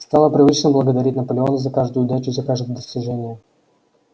стало привычным благодарить наполеона за каждую удачу за каждое достижение